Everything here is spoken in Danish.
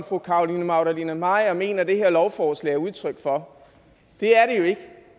fru carolina magdalene maier at mener at det her lovforslag er udtryk for